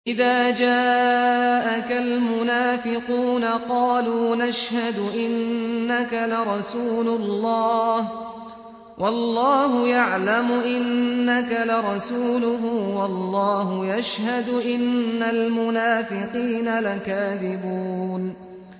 إِذَا جَاءَكَ الْمُنَافِقُونَ قَالُوا نَشْهَدُ إِنَّكَ لَرَسُولُ اللَّهِ ۗ وَاللَّهُ يَعْلَمُ إِنَّكَ لَرَسُولُهُ وَاللَّهُ يَشْهَدُ إِنَّ الْمُنَافِقِينَ لَكَاذِبُونَ